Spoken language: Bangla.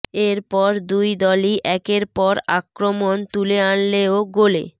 এর পর দুই দলই একের পর আক্রমণ তুলে আনলেও গোলে